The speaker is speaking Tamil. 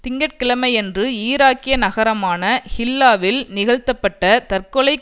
திங்கட்கிழமையன்று ஈராக்கிய நகரமான ஹில்லாவில் நிகழ்த்தப்பட்ட தற்கொலை